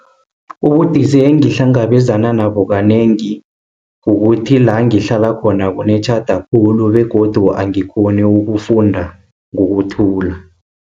Ubudisi engihlangabezana nabo kanengi, kukuthi la ngihlala khona, kunetjhada khulu, begodu angikghoni ukufunda ngokuthula.